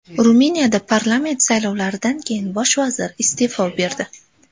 Ruminiyada parlament saylovlaridan keyin bosh vazir iste’fo berdi.